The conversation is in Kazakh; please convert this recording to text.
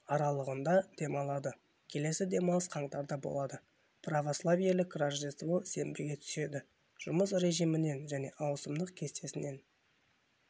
аралығында демалады келесі демалыс қаңтарда болады православиелік рождество сенбіге түседі жұмыс режімінен және ауысымдық кестесінен